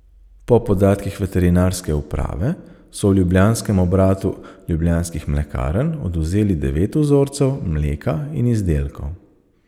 Po podatkih veterinarske uprave so v ljubljanskem obratu Ljubljanskih mlekarn odvzeli devet vzorcev mleka in izdelkov.